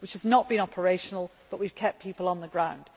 This has not been operational but we have kept people on the ground.